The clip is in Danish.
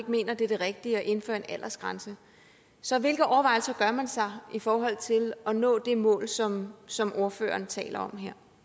mener det er det rigtige at indføre en aldersgrænse så hvilke overvejelser gør man sig i forhold til at nå det mål som som ordføreren taler